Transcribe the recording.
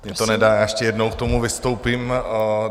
Mně to nedá a ještě jednou k tomu vystoupím.